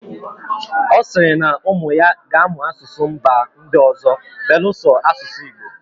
Ọ sịrị na ụmụ ya ga amụ asụsụ mba ndị ọzọ beluso asụsụ Igbo